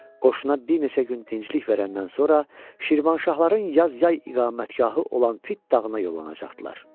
Qoşuna bir neçə gün dincəlik verəndən sonra, Şirvanşahların yaz yay iqamətgahı olan Fit dağına yollanacaqdılar.